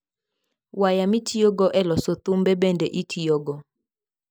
Waya mitiyogo e loso thumbe bende itiyogo.